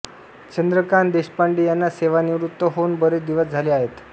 चंद्रकांत देशपांडे यांना सेवानिवृत्त होऊन बरेच दिवस झाले आहेत